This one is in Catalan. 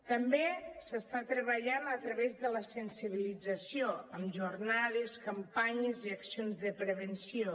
també s’està treballant a través de la sensibilització amb jornades campanyes i accions de prevenció